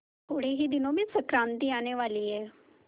थोड़े ही दिनों में संक्रांति आने वाली है